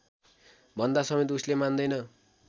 भन्दासमेत उसले मान्दैन